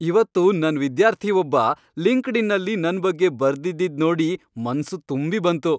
ಇವತ್ತು ನನ್ ವಿದ್ಯಾರ್ಥಿ ಒಬ್ಬ ಲಿಂಕ್ಡ್ಇನ್ನಲ್ಲಿ ನನ್ ಬಗ್ಗೆ ಬರ್ದಿದ್ದಿದ್ ನೋಡಿ ಮನ್ಸು ತುಂಬಿ ಬಂತು.